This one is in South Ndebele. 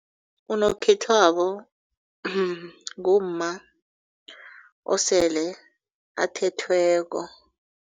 Unokhethwabo ngumma osele athethweko.